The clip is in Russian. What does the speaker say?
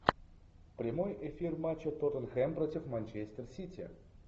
прямой эфир матча тоттенхэм против манчестер сити